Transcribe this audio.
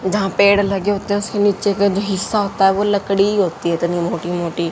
जहाँ पेड़ लगे होते हैं उसके नीचे के जो हिस्सा होता हैं वह लकड़ी ही होती हैं इतनी मोटी मोटी --